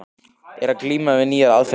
Er að glíma við nýjar aðferðir.